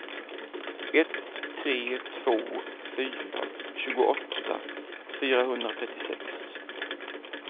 ett tre två fyra tjugoåtta fyrahundratrettiosex